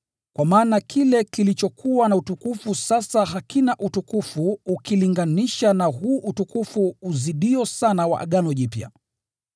Kwa maana kile kilichokuwa na utukufu sasa hakina utukufu ukilinganisha na huu utukufu unaozidi wa Agano Jipya.